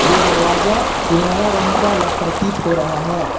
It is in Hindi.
ये दरवाजा सुनहरा रंग का प्रतीत हो रहा है।